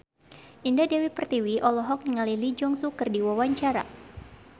Indah Dewi Pertiwi olohok ningali Lee Jeong Suk keur diwawancara